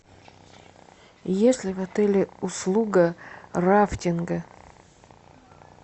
есть ли в отеле услуга рафтинга